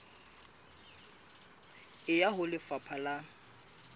e ya ho lefapha la